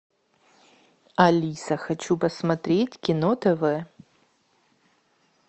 алиса хочу посмотреть кино тв